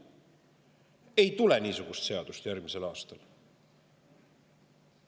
Ei tule niisugust seadust järgmisel aastal.